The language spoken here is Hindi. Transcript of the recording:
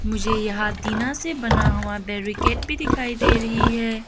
मुझे यहां टीना से बना हुआ बैरीकेड भी दिखाई दे रही है।